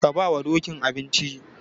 Ka bawa Dokin abinci.